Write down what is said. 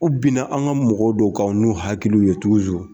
U bina an ka mɔgɔw dɔw kan n'u hakili ye